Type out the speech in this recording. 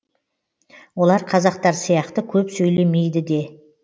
олар қазақтар сияқты көп сөйлемейді де